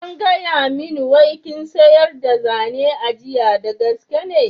An gaya min wai kin siryar da zane a jiya, da gaske ne?